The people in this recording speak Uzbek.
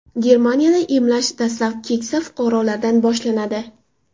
Germaniyada emlash dastlab keksa fuqarolardan boshlanadi.